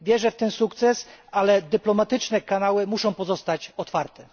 Wierzę w ten sukces, ale dyplomatyczne kanały muszą pozostać otwarte.